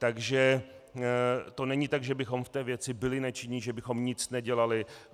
Takže to není tak, že bychom v té věci byli nečinní, že bychom nic nedělali.